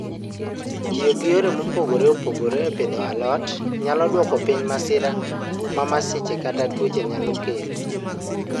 Tiyo gi yore mopogore opogore e pidho alot, nyalo dwoko piny masira ma masiche kata tuoche nyalo kelo.